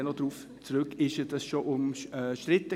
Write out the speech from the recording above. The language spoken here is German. Ich komme noch darauf zurück.